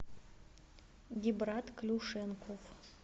гибрат клюшенков